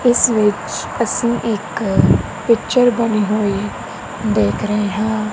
ਇਸ ਵਿੱਚ ਅਸੀ ਇੱਕ ਪਿੱਚਰ ਬਣੀ ਹੋਈ ਦੇਖ ਰਹੇ ਹਾਂ।